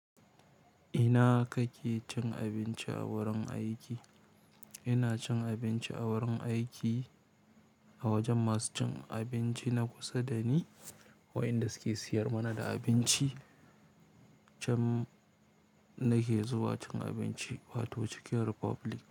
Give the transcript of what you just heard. Ina kake cin abinci a wurin aiki? Ina cin abinci a wurin aiki, a wajen masu cin abinci na kusa da ni ko inda suke siyar mana da abinci. Can nake zuwa cin abinci wato Chicken Republic.